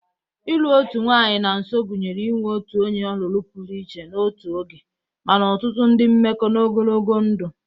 Ịlụ otu nwanyị na nso gụnyere inwe otu onye ọlụlụ pụrụ iche n'otu oge, mana ọtụtụ ndị mmekọ n'ogologo ndụ.